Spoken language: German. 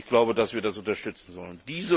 Ich glaube, dass wir das unterstützen sollen.